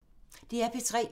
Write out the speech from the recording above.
DR P3